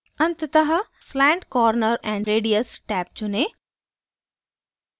अंततः slant corner and radius tab चुनें